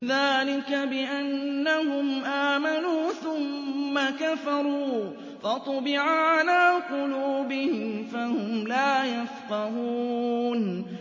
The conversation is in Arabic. ذَٰلِكَ بِأَنَّهُمْ آمَنُوا ثُمَّ كَفَرُوا فَطُبِعَ عَلَىٰ قُلُوبِهِمْ فَهُمْ لَا يَفْقَهُونَ